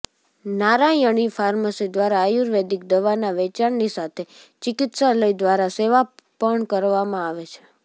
નારાયણી pharmacy દ્વારા આયુર્વેદિક દવાના વેચાણની સાથે ચિકિત્સાલય દ્વારા સેવા પણ કરવામાં આવે છે